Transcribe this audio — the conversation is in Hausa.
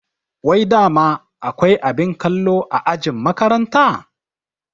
Wai dama akwai abin kallo a ajin makaranta?